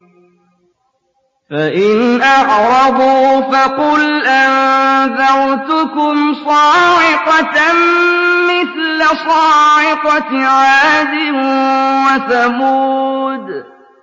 فَإِنْ أَعْرَضُوا فَقُلْ أَنذَرْتُكُمْ صَاعِقَةً مِّثْلَ صَاعِقَةِ عَادٍ وَثَمُودَ